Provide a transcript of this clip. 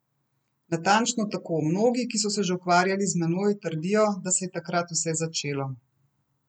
Natančno tako, mnogi, ki so se že ukvarjali z menoj, trdijo, da se je takrat vse začelo.